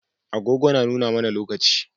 Agogo na nuna mAna lokaci